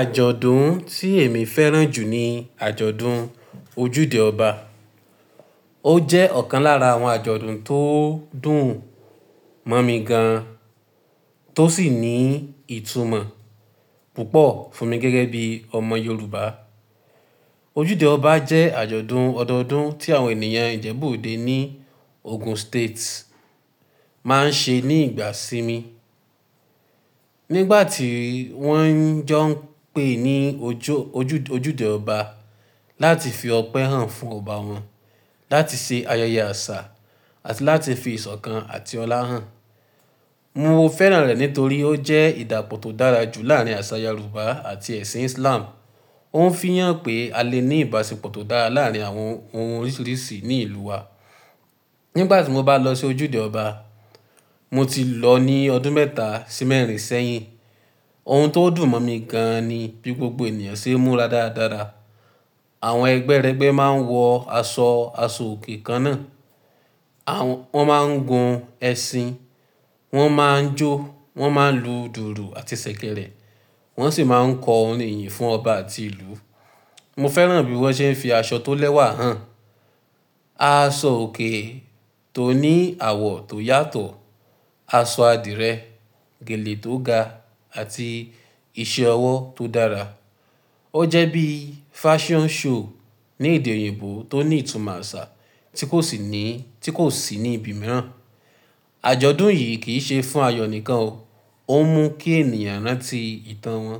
Àjọ̀dún tí èmi fẹ́ràn jù ni àjọ̀dún ojúde ọba. Ó jẹ́ ọ̀kan lára àwọn àjọ̀dún tó dùn mọ́ mi gan, tó sì ní ìtumọ̀ púpọ̀ fún mi gẹ́gẹ́ bí ọmọ Yorùbá. Ojúde ọba jẹ́ àjọ̀dún ọdọọdún tí àwọn ènìyàn Ìjẹ̀bú-Òde ní Ogun State máa ń ṣe ní ìgbà sí mi. Nígbà tí wọ́n ń jọ́ ń pe ní ojú ojúde ọba láti fi ọpẹ́ hàn fún ọba wọn, láti ṣe ayẹyẹ àṣà àti láti fi ìṣọ̀kan àti ọlá hàn. Mo fẹ́ràn rẹ̀ nítorí ó jẹ́ ìdàpọ̀ tó dára jù láàrín àṣà Yorùbá àti ẹ̀sìn Islam. Ó ń fii hàn pé a lè ní ìbáṣepọ̀ tó dára láàrín àwọn ohun oríṣiríṣi ní ìlú wa. Nígbà tí mo bá lọ sí ojúde ọba, mo ti lọ ní ọdún mẹ́ta sí mẹ́rin sẹ́yìn. Ohun tó dùn mọ́ mi gan ni bí gbogbo ènìyàn ṣe ń múra dáradára. Àwọn ẹgbẹ́rẹgbẹ́ máa ń wọ aṣọ aṣọ òkè kan náà, wọ́n máa ń gun ẹṣin, wọ́n máa ń jó, wọ́n máa ń lu dùùrù àti ṣẹ̀kẹ̀rẹ̀, wọ́n sì máa ń kọ orin ìyìn fún ọba àti ìlú. Mo fẹ́ràn bí wọ́n ṣe ń fi aṣọ tó lẹ́wà hàn, aṣọ òkè tó ní àwọ̀ tó yàtọ̀, aṣọ adìrẹ, gèlè tó ga àti iṣẹ́ ọwọ́ tó dára. Ó jẹ́ bí fashion show ní èdè òyìnbó tó ní ìtumọ̀ àṣà tí kò sì ní, tí kò sì ní ibi mìíràn. Àjọ̀dún yìí kì í ṣe fún ayọ̀ nìkan o. Ó mú kí ènìyàn rántí ìtàn wọn,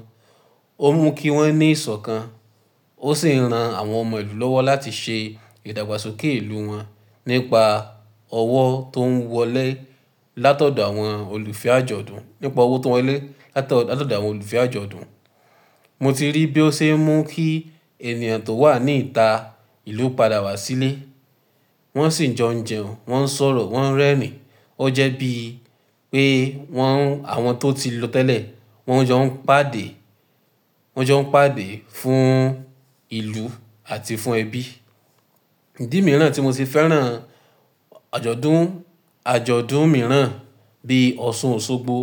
ó mú kí wọ́n ní ìṣọ̀kan, ó sì ran àwọn ọmọ ìlú lọ́wọ́ láti ṣe ìdàgbàsókè ìlú wọn nípa ọwọ́ tó ń wọlé látọ̀dọ̀ àwọn olùfẹ́ àjọ̀dún, nípa ọwọ́ tó ń wọlé látọ̀dọ̀ àwọn olùfẹ́ àjọ̀dún. Mo ti rí bí ó ṣe ń mú kí ènìyàn tó wà ní ìta ìlú padà wá sílé. Wọ́n sì ń jo jẹun, wọ́n ń sọ̀rọ̀, wọ́n ń rẹ́rìn-ín. Ó jẹ́ bíi pé wọ́n, àwọn tó ti lọ tẹ́lẹ̀, wọ́n ń jó ń pàdé, wọ́n ń jó ń pàdé fún ìlú àti fún ẹbí. Ìdí mìíràn tí mo ti fẹ́ràn àjọ̀dún, àjọ̀dún mìíràn bí Ọ̀ṣun Òṣogbo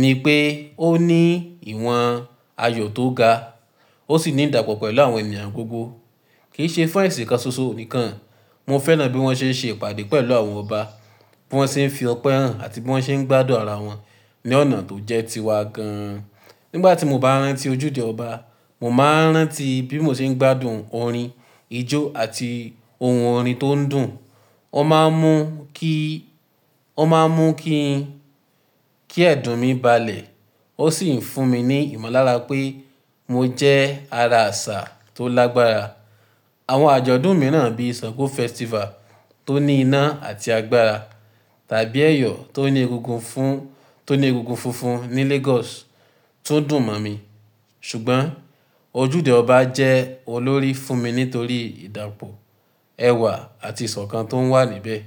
ni pé ó ní ìwọ̀n ayọ̀ tó ga, ó sì ní ìdàpọ̀ pẹ̀lú àwọn ènìyàn gbogbo. Kì í ṣe fún ẹ̀sìn kan ṣoṣo nìkan. Mo fẹ́ràn bí wọ́n ṣe ń ṣe ìpàdé pẹ̀lú àwọn ọba, bí wọ́n ṣe ń fi ọpẹ́ hàn àti bí wọ́n ṣe ń gbádùn ara wọn ní ọ̀nà tó jẹ́ tiwa gan. Nígbà tí mo bá rántí ojúde ọba, mo máa ń rántí bí mo ṣe ń gbádùn orin, ijó àti ohun orin tó ń dùn. Ó máa ń mú kí, ó máa ń mú kí, kí ẹ̀dùn mi balẹ̀. Ó sì ń fún mi ní ìmọ̀lára pé mo jẹ́ ara àṣà tó lágbára. Àwọn àjọ̀dún mìíràn bí Sango Festival tó ní iná àti agbára, tàbí ẹyọ tó ní egungun fún, tó ní egungun funfun ní Lagos tó dùn mọ́ mi. Ṣùgbọ́n ojúde ọba jẹ́ olórí fún mi nítorí ìdàpọ̀ ẹwà àti ìṣọ̀kan tón wà níbẹ̀.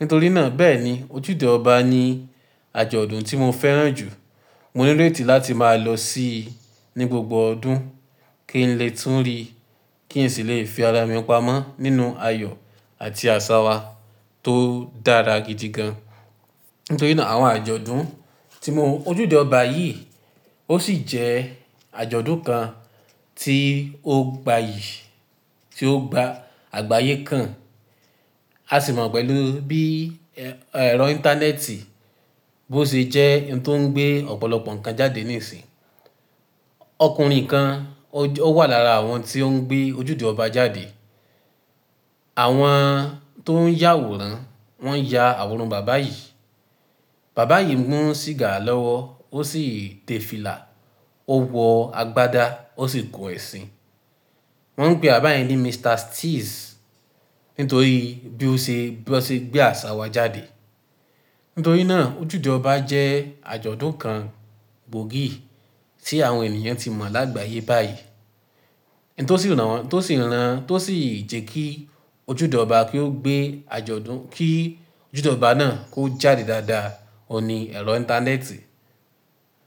Nítorí náà bẹ́ẹ̀ni ojúde ọba ni àjọ̀dún tí mo fẹ́ràn jù. Mo níréti láti máa lọ sí i ní gbogbo ọdún kí n lè tún rí, kí n sì lè fi ara mi pamọ́ nínú ayọ̀ àti àṣà wa tó dára gidi gan. Nítorí náà àwọn àjọ̀dún tí mo, ojúde ọba yìí ó sì jẹ́ àjọ̀dún kan tí ó gbayì, tí ó gba àgbáyé kan. A sì mọ̀ pẹ̀lú bí ẹ̀rọ íńtánẹ́ẹ̀tì bó ṣe jẹ́ ohun tó ń gbé ọ̀pọ̀lọpọ̀ ǹkan jáde níìsín. Ọkùnrin kan ó wà lára àwọn tí ó ń gbé ojúde ọba jáde. Àwọn tó ń yàwòrán, wọ́n ya àwòrán bàbá yìí. Bàbá yìí ń mu sìgá lọ́wọ́, ó sì ń tẹ fílà, ó wọ agbádá, ó sì gun ẹṣin. Wọ́n ń pè àbáyén ní Mr. Steez nítorí bí ó ṣe, bí ó ṣe gbé àṣà wa jáde. Nítorí náà ojúde ọba jẹ́ àjọ̀dún kan gbòógì tí àwọn ènìyàn ti mọ̀ lágbáyé báyìí. N tó sì rán, tó sì rán, tó sì jẹ́ kí ojúde ọba kí ó gbé àjọ̀dún, kí ojúde ọba náà kó jáde dáadáa, ọ ni ẹ̀rọ íńtánẹ́ẹ̀tì.